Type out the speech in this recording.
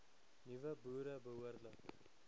nuwe boere behoorlik